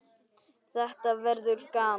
Þetta verður gaman